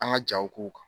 An ka jaw k'u kan